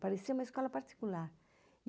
Parecia uma escola particular.